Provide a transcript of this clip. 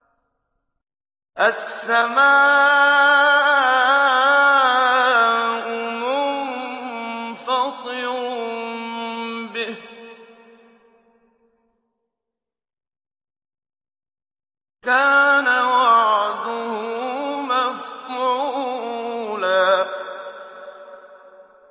السَّمَاءُ مُنفَطِرٌ بِهِ ۚ كَانَ وَعْدُهُ مَفْعُولًا